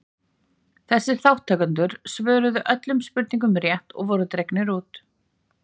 þessir þátttakendur svöruðu öllum spurningunum rétt og voru dregnir út